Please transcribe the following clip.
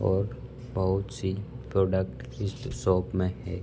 और बहुत सी प्रोडक्ट इसर् शॉप में है।